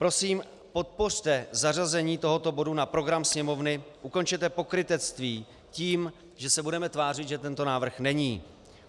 Prosím, podpořte zařazení tohoto bodu na program Sněmovny, ukončete pokrytectví tím, že se budeme tvářit, že tento návrh není.